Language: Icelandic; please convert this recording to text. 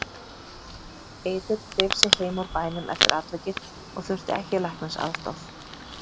Eiður dreif sig heim úr bænum eftir atvikið og þurfti ekki læknisaðstoð.